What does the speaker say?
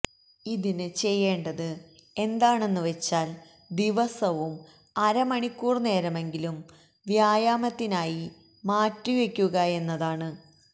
ഇതിന് ചെയ്യേണ്ടത് എന്താണെന്ന് വെച്ചാ ദിവസവും അരമണിക്കൂർ നേരമെങ്കിലും വ്യായാമത്തിനായി മാറ്റി വെക്കുക െന്നതാണ്